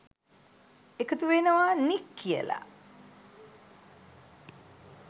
එකතු වෙනවා නික් කියලා.